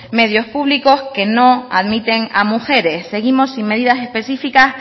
medios públicos que no admiten a mujeres seguimos sin medidas específicas